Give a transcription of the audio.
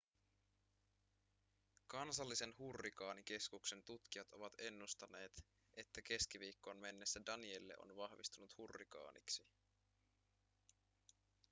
kansallisen hurrikaanikeskuksen tutkijat ovat ennustaneet että keskiviikkoon mennessä danielle on vahvistunut hurrikaaniksi